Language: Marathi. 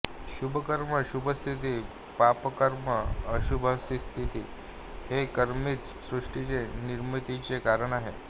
शुभकर्म शुभास्थिती पापकर्म अशुभस्थिती हे कर्मच सृष्टीचे निर्मितीचे कारण आहे